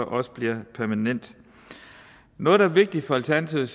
også bliver permanent noget der er vigtigt for alternativet